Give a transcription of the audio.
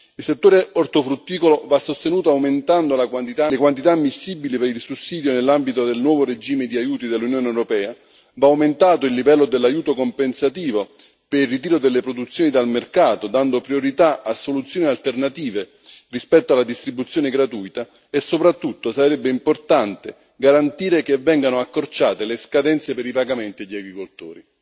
Il settore ortofrutticolo va sostenuto aumentando le quantità ammissibili per il sussidio nell'ambito del nuovo regime di aiuti dell'Unione europea, va aumentato il livello dell'aiuto compensativo per il ritiro delle produzioni dal mercato, dando priorità a soluzioni alternative rispetto alla distribuzione gratuita e, soprattutto, sarebbe importante garantire che vengano accorciate le scadenze per i pagamenti agli agricoltori.